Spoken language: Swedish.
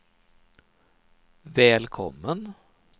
välkommen